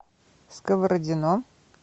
сковородино